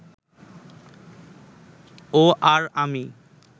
ও আর আমি